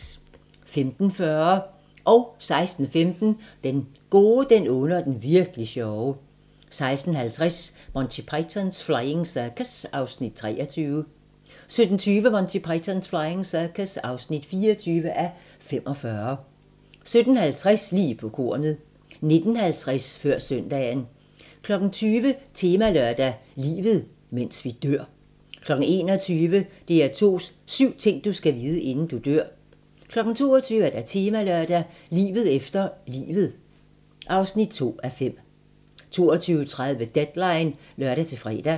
15:40: Den gode, den onde og den Virk'li sjove 16:15: Den gode, den onde og den Virk'li sjove. 16:50: Monty Python's Flying Circus (23:45) 17:20: Monty Python's Flying Circus (24:45) 17:50: Lige på kornet 19:50: Før søndagen 20:00: Temalørdag: Livet, mens vi dør 21:00: DR2s syv ting du skal vide, inden du dør 22:00: Temalørdag: Livet efter livet (2:5) 22:30: Deadline (lør-fre)